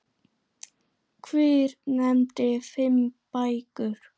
Hver nefndi fimm bækur.